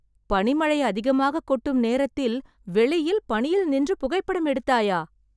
பனிமழை அதிகமாக கொட்டும் நேரத்தில், வெளியில் பனியில் நின்று புகைப்படம் எடுத்தாயா...